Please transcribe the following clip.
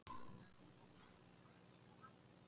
En góður, sagði biskupinn.